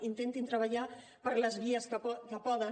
intentin treballar per les vies que poden